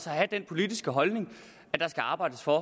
have den politiske holdning at der skal arbejdes for at